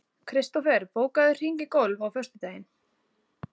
Kristofer, bókaðu hring í golf á föstudaginn.